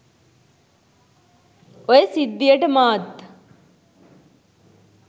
ඔය සිද්ධියට මාත්